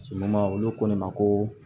olu ko ne ma ko